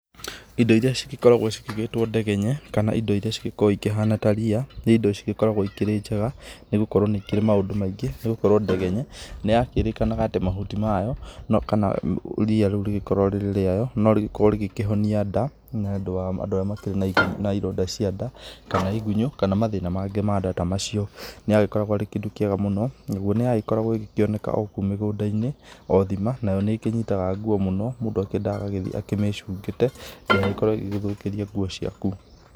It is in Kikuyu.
Indo iria cĩgĩkoragwo cĩtigĩtwo ndegenye, kana indo iria ĩkĩhana ta ria nĩ indo cĩkoragwo ikĩrĩ njega nĩgũkorwo nĩ ikĩrĩ maũndũ maingĩ nĩgũkorwo ndegenye, nĩ yakĩrĩkanaga atĩ mahuti mayo kana ria rĩu rĩkĩrĩ rĩayo no rĩkĩrĩ rĩkĩhonia nda, nĩũndũ wa andũ arĩa mena ironda cia nda kana igũnyũ, kana mathĩna mangĩ ma nda ta macio, nĩarĩkoragwo arĩ kĩndũ kĩega mũno, nagwo nĩa koragwo ĩkĩonekana o kũu mũgũnda-inĩ o thima nĩkĩnyitanaga nguo mũno mũndũ endaga agagĩthiĩ ecungĩte kana ĩkorwo ĩgĩgũthũkĩrĩa nguo ciaku.